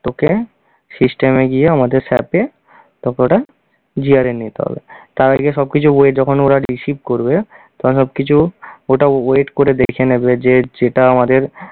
তোকে system এ গিয়ে আমাদের সাথে তোকে ওটা নিতে হবে। তার আগে সবকিছু weight যখন receive করবে তখন সবকিছু ওটা weight করে দেখে নেবে যে যেটা আমাদের